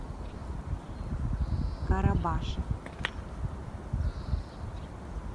карабаше